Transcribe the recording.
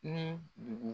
Ni dugu